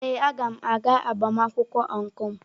Ee, a ga m aga agbamakwụkwọ ọncụl.